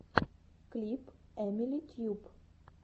клип эмили тьюб